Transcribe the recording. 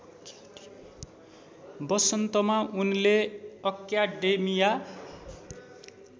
वसन्तमा उनले अक्याडेमिया